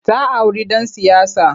Ta auri ɗan siyasa.